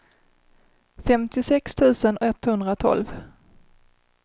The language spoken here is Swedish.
femtiosex tusen etthundratolv